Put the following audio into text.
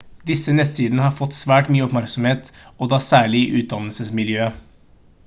disse nettsidene har fått svært mye oppmerksomhet og da særlig i utdannelsesmiljøet